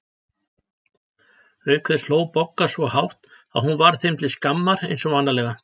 Auk þess hló Bogga svo hátt að hún varð þeim til skammar eins og vanalega.